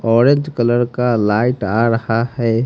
Orange colour का light आ रहा है।